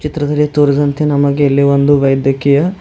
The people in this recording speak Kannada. ಇದರಲ್ಲಿ ತೋರಿದಂತೆ ನಮಗೆ ಒಂದು ವೈದ್ಯಕೀಯ--